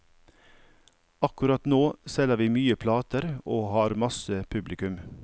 Akkurat nå selger vi mye plater og har masse publikum.